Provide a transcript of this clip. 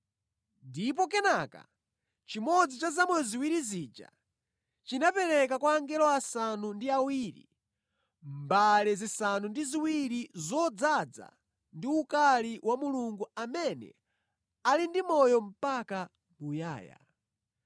Ndipo kenaka chimodzi cha zamoyo zinayi zija chinapereka kwa angelo asanu ndi awiri mbale zisanu ndi ziwiri zodzaza ndi ukali wa Mulungu amene ali ndi moyo mpaka muyaya.